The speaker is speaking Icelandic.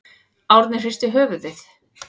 Árni hristi höfuðið.